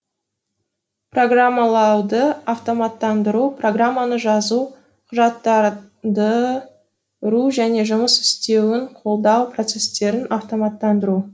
программалауды автоматтандыру программаны жазу құжаттанды ру жөне жұмыс істеуін қолдау процестерін автоматтандыру